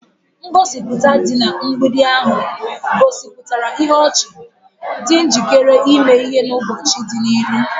Ngosipụta dị na mgbidi ahụ gosipụtara ihu ọchị, dị njikere ime ihe n'ụbọchị dị n'ihu.